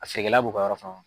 A feerekɛla b'o ka yɔrɔ